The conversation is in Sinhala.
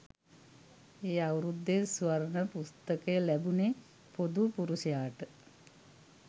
ඒ අවුරුද්දෙ ස්වර්ණ පුස්තකය ලැබුණෙ පොදු පුරුෂයාට